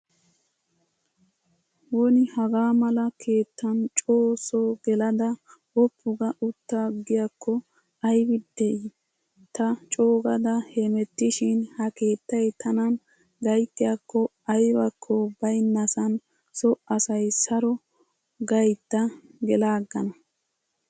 Woni Haga mala keettan co so gelada woppu ga uttaagiyakko aybi di. Ta coogada hemettishin ha keettay tanan gayttiyaakko aybako baynnasan so asay saro gaydda gelaagana.